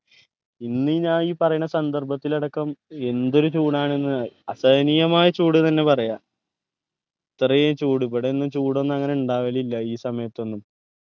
ഇന്ന് ഞാൻ ഈ പറയുന്ന സന്ദർഭത്തിൽ അടക്കം എന്തൊരു ചൂടാണ് ന്ന് അസഹനീയമായ ചൂട് തന്നെ പറയാ ഇത്രയും ചൂട് ഇവിടെ ഒന്നും ചൂടൊന്നും അങ്ങനെ ഇണ്ടാവലില്ല ഈ സമയത്തൊന്നും